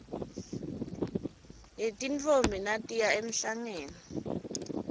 yetintfombi natiya emhlangeni